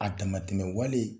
A damatɛmɛ wale